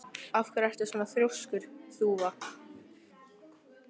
Af hverju ertu svona þrjóskur, Þúfa?